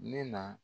Ne na